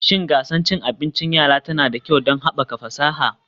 Shin gasar cin abinci yara tana da kyau don haɓaka fasaha